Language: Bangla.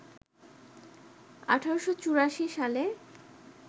১৮৮৪ সালে